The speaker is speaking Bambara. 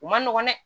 U man nɔgɔ dɛ